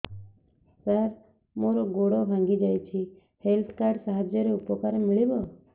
ସାର ମୋର ଗୋଡ଼ ଭାଙ୍ଗି ଯାଇଛି ହେଲ୍ଥ କାର୍ଡ ସାହାଯ୍ୟରେ ଉପକାର ମିଳିବ